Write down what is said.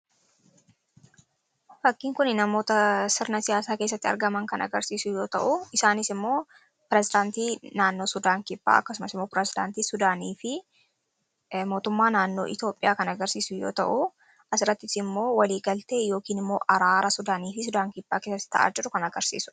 Fakkiin kuni namoota sirna siyaasaa kessatti argaman kan agarsiisu yoo ta'u isaaniis immoo pireezidaantii naannoo sudaan kibbaa akkasumas immoo pirezidaantii sudaanii fi mootummaa naannoo Itoophiyaa kan agarsiisu yoo ta'u asirattii immoo walii galtee yookiin immoo araara sudaanii fi sudaan kibbaa keessatti ta'aa jiru kan agirsiisu.